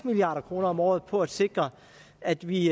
milliard kroner om året på at sikre at vi